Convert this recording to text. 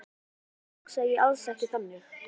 Eða kannski hugsaði ég alls ekki þannig.